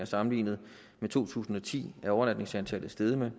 sammenlignet med to tusind og ti er overnatningsantallet steget med